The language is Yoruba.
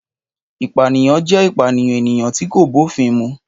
Ìpànìyàn jẹ́ ìpànìyàn ènìyàn tí kò bófin mu.